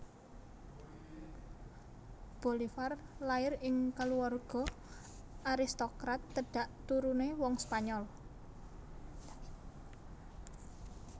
Bolivar lair ing kaluwarga aristokrat tedhak turune wong Spanyol